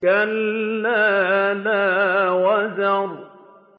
كَلَّا لَا وَزَرَ